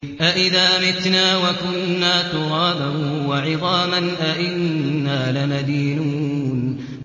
أَإِذَا مِتْنَا وَكُنَّا تُرَابًا وَعِظَامًا أَإِنَّا لَمَدِينُونَ